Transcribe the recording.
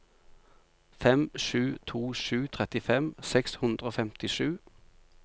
fem sju to sju trettifem seks hundre og femtisju